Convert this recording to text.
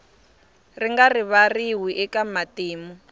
ri nga rivariwi eka matimu